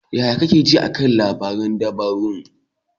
Yaya kake ji a kan labaran dabarun?